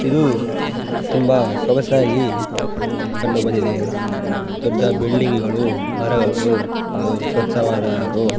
ಇದು ತುಂಬ ಸೊಗಸಾಗಿ ಕಂಡುಬಂದಿದೆ ದೊಡ್ಡ ಬಿಲ್ಡಿಂಗ್ಗ ಳು ಮರಗಳು ಹಾಗು ಸ್ವಚ್ಛವಾದ ರೋ --